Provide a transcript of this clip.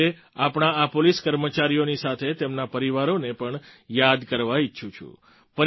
હું આજે આપણા આ પોલીસ કર્મચારીઓની સાથે તેમના પરિવારોને પણ યાદ કરવા ઈચ્છું છું